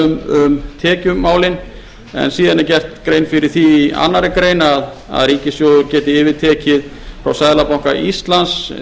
um tekjumálin en síðan er gerð grein fyrir því í annarri grein að ríkissjóður geti yfirtekið frá seðlabanka íslands